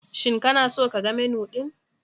Shin kana so ka ga Menu ɗin?